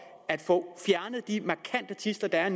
at få fjernet de markante tidsler der er